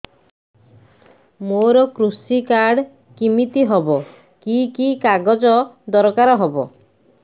ମୋର କୃଷି କାର୍ଡ କିମିତି ହବ କି କି କାଗଜ ଦରକାର ହବ